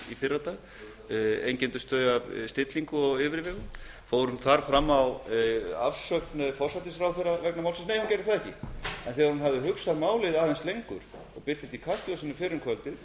í fyrradag af stillingu og yfirvegun fór hún þar fram á afsögn forsætisráðherra vegna málsins nei hún gerði það ekki en þegar hún hafði hugsað málið aðeins lengur í kastljósi síðar um kvöldið